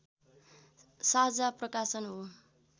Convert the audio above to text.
साझा प्रकाशन हो